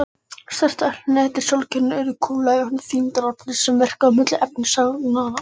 Stærstu hnettir sólkerfisins urðu kúlulaga vegna þyngdarkraftsins sem verkaði milli efnisagnanna.